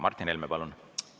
Martin Helme, palun!